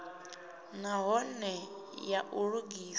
na hoea ya u lugisa